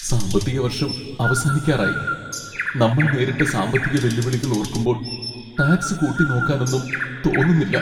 സാമ്പത്തിക വർഷം അവസാനിക്കാറായി. നമ്മൾ നേരിട്ട സാമ്പത്തിക വെല്ലുവിളികൾ ഓർക്കുമ്പോൾ ടാക്സ് കൂട്ടിനോക്കാനൊന്നും തോന്നുന്നില്ല.